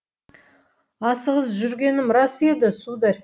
асығыс жүргенім рас еді сударь